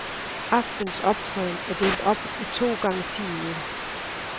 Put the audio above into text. Aftenens optræden er delt op i to gange ti minutter.